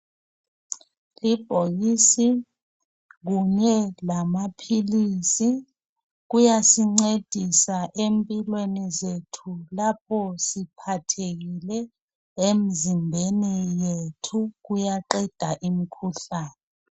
Ibhokisi kunye lamaphilisi kuyasincedisa empilweni zethu lapho siphathekile emzimbeni yethu kuyaqeda imikhuhlane.